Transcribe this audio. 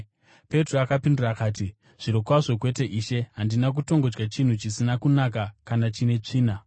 Petro akapindura akati, “Zvirokwazvo kwete, Ishe! Handina kutongodya chinhu chisina kunaka kana chine tsvina.”